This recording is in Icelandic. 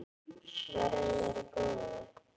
Verði þér að góðu.